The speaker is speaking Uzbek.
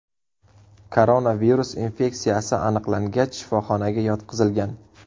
Koronavirus infeksiyasi aniqlangach, shifoxonaga yotqizilgan.